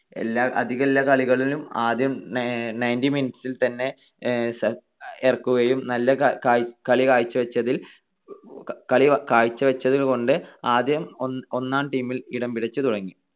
അധികെല്ലാ കളികളിലും ആദ്യം ninety minutes ൽത്തന്നെ ഇറക്കുകയും നല്ല കളി കാഴ്ച്ചവെച്ചതിൽ ~ കളി കാഴ്ച്ചവെച്ചത് കൊണ്ട് ആദ്യം ഒന്നാം team ൽ ഇടംപിടിച്ചുതുടങ്ങി.